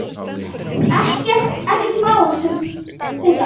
Ekkert mál sem sagt.